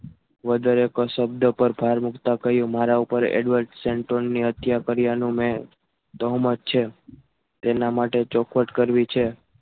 વધારે કા શબ્દ પર ભાર મુકતા કહ્યું મારા ઉપર Edward centre ની હત્યા કર્યાનું મેં દહમત છે તેના માટે ચોખવટ કરવી છે.